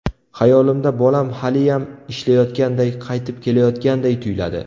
Xayolimda bolam haliyam ishlayotganday, qaytib keladiganday tuyuladi.